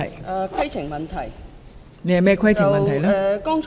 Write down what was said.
我想提出規程問題。